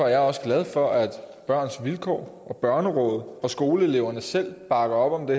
jeg også glad for at børns vilkår børnerådet og skoleeleverne selv bakker op om det